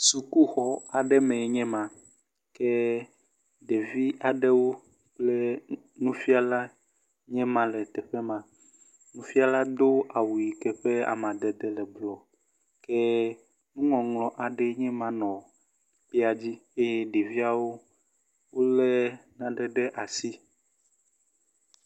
Sukuxɔ aɖe mee nye ma, ke ɖevi aɖewo kple nufiala nye ma le teƒe ma. Nufiala do awu yike ƒe amadede le blu. Ke nuŋɔŋlɔ aɖe nye ma nɔ ekpea dzi eye ɖeviawo wolé naɖe ɖe asi.